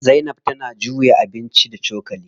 Zainab tana juya abinci da cokali.